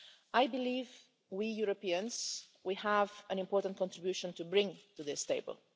I believe that we Europeans have an important contribution to bring to this table.